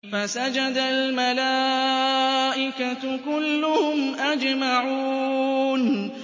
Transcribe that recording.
فَسَجَدَ الْمَلَائِكَةُ كُلُّهُمْ أَجْمَعُونَ